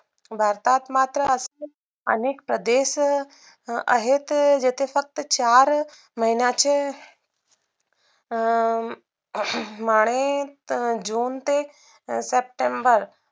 भारतात मात्र असतील अनेक स्वदेश आहेत जिते फक्त चार महिन्याचे अं माने june ते september